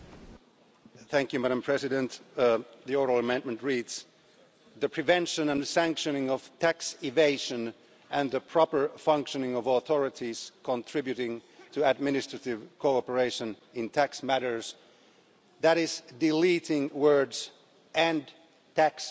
Madam President, the oral amendment reads the prevention and the sanctioning of tax evasion and the proper functioning of authorities contributing to administrative cooperation in tax matters' that is deleting words and tax competition'